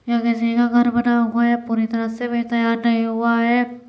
यह किसी का घर बना हुआ है पूरी तरह से अभी तैयार नहीं हुआ है।